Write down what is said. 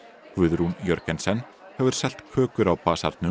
Guðrún Jörgensen hefur selt kökur á